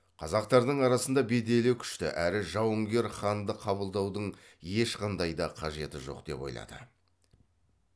қазақтардың арасында беделі күшті әрі жауынгер ханды қабылдаудың ешқандай да қажеті жоқ деп ойлады